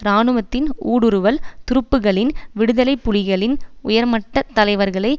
இராணுவத்தின் ஊடுருவல் துருப்புக்களின் விடுதலை புலிகளின் உயர்மட்ட தலைவர்களை